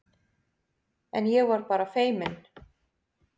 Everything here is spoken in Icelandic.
En ég var bara feiminn.